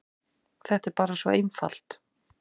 Þetta er bara svo einfalt.